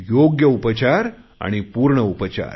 योग्य उपचार आणि पूर्ण उपचार